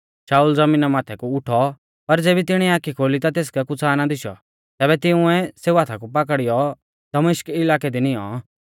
शाऊल ज़मीना माथै कु उठौ पर ज़ेबी तिणीऐ आखी खोली ता तेसकै कुछ़ा ना दिशौ तैबै तिंउऐ सेऊ हाथा पाकड़ियौ दमिश्क इलाकै दी निऔं